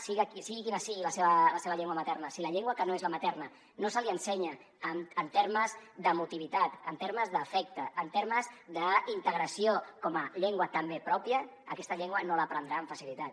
sigui quina sigui la seva llengua materna si la llengua que no és la materna no se li ensenya en termes d’emotivitat en termes d’afecte en termes d’integració com a llengua també pròpia aquesta llengua no l’aprendrà amb facilitat